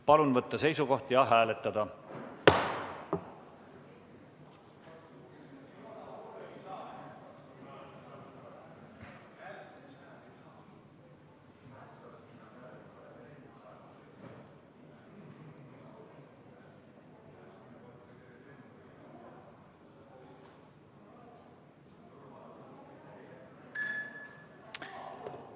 Palun võtta seisukoht ja hääletada!